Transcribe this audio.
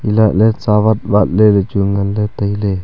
elah ley sawat wat ley ley chu wai ngan ley tai ley.